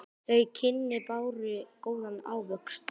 Þau kynni báru góðan ávöxt.